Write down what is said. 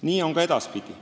Nii on ka edaspidi.